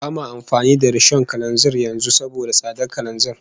Ba ma amfani da rishon kananzir yanzu saboda tsadar kananzir